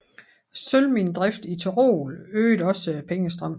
Sølvminedrift i Tyrol øgede også pengestrømmen